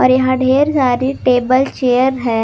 यहां ढेर सारी टेबल चेयर है।